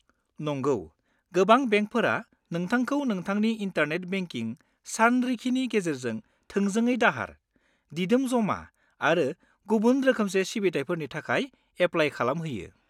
नंगौ, गोबां बेंकफोरा नोंथांखौ नोंथांनि इन्टारनेट बेंकिं सानरिखिनि गेजेरजों थोंजोङै दाहार, दिदोम जमा आरो गुबुन रोखोमसे सिबिथाइफोरनि थाखाय एप्लाय खालामहोयो।